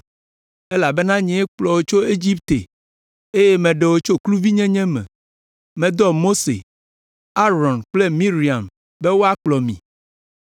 Elabena nyee kplɔ wò tso Egipte eye meɖe wò tso kluvinyenye me. Medɔ Mose, Aron kple Miriam be woakplɔ mi.